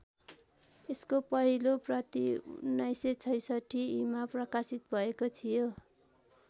यसको पहिलो प्रति १९६६ ईमा प्रकाशित भएको थियो।